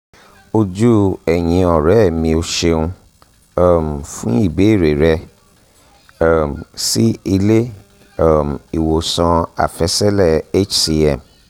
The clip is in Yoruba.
ojú ẹ̀yìnọ̀rẹ́ mio ṣeun um fún ìbéèrè rẹ um sí ilé um ìwòsàn àfẹsẹ̀lẹ̀ hcm